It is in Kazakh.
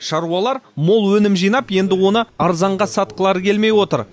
шаруалар мол өнім жинап енді оны арзанға сатқылары келмей отыр